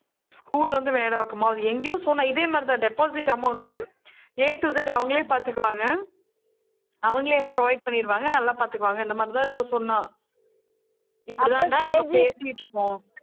school வந்து மேடவாக்கமா அது எங்கயோ சொன்னா இதே மாதிரி தான், deposit amount A to Z அவங்களே பாத்துக்குவாங்க. அவங்களே இதுல provide பண்ணிடுவாங்க. நல்லா பாத்துக்குவாங்க. இந்த மாதிரிதான் ஏதோ சொன்னா. இப்பிடித்தாண்டா நாங்க பேசிட்டு இருக்கோம்